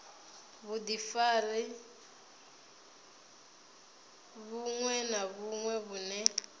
vhudifari vhuṅwe na vhuṅwe vhune